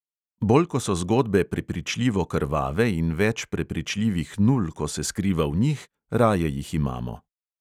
Bolj ko so zgodbe prepričljivo krvave in več prepričljivih nul, ko se skriva v njih, raje jih imamo.